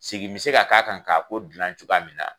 Segi bɛ se ka k'a kan k'a ko dilan cogoya min na